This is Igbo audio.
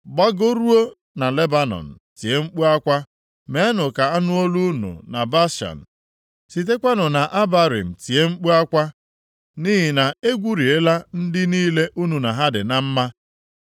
“Gbagoruo na Lebanọn tie mkpu akwa, meenụ ka a nụ olu unu na Bashan, sitekwanụ na Abarim tie mkpu akwa nʼihi na e gweriela ndị niile unu na ha dị na mma.